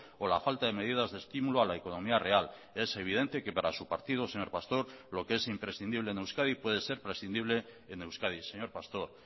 o la falta de medidas de estímulo a la economía real es evidente que para su partido señor pastor lo que es imprescindible en euskadi puede ser prescindible en euskadi señor pastor